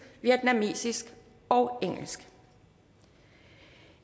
vietnamesisk og engelsk